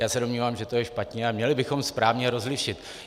Já se domnívám, že to je špatně a měli bychom správně rozlišit.